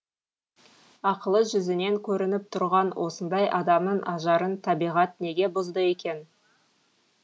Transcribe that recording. ақылы жүзінен көрініп тұрған осындай адамның ажарын табиғат неге бұзды екен